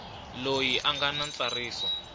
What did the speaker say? loyi a nga na ntsariso